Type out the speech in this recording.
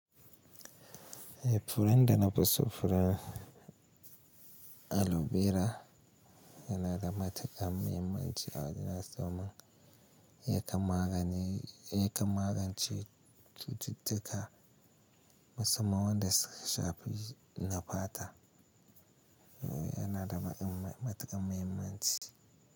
Furen da na fuso furen aloe vera yana da matuƙan mahimmanci a wajen tsimin yakan magance cututtuka. Musamman wanda suka shafi nafata, yana da matuƙan mahimmanci.